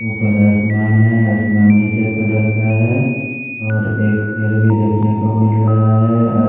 ऊपर आसमान है आसमान नीले कलर का है और एक पेड़ भी देखने को मिल रहा है अर--